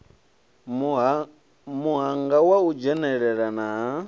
muhanga wa u dzhenelelana ha